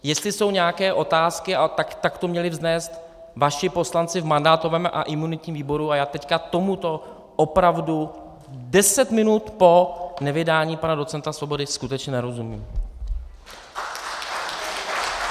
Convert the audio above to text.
Jestli jsou nějaké otázky, tak to měli vznést vaši poslanci v mandátovém a imunitním výboru a já teď tomuto opravdu deset minut po nevydání pana docenta Svobody skutečně nerozumím!